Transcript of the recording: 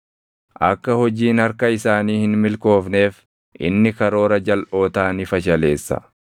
Akka hojiin harka isaanii hin milkoofneef, inni karoora jalʼootaa ni fashaleessa.